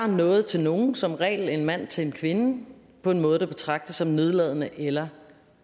noget til nogen som regel en mand til en kvinde på en måde der betragtes som nedladende eller